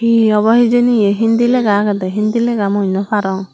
hee obo hijeni ye hindi lega agede hindi lega mui naw parong.